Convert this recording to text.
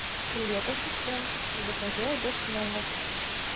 привет ассистент закажи обед в номер